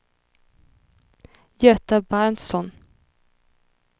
Göta Berntsson